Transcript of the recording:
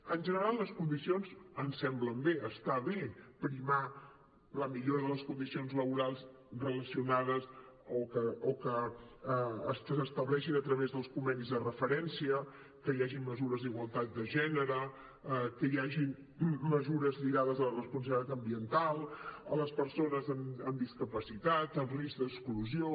en general les condicions ens semblen bé està bé primar la millora de les condicions laborals relacionades o que s’estableixin a través dels convenis de referència que hi hagin mesures d’igualtat de gènere que hi hagin mesures lligades a la responsabilitat ambiental a les persones amb discapacitat amb risc d’exclusió